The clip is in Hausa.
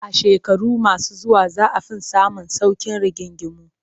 A shekaru masu zuwa za a fi samun sauƙin rigingimu